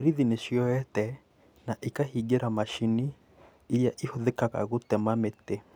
Borithi nĩcioete na ikahingĩra machini iria ihũthĩkaga gũtema mĩtĩ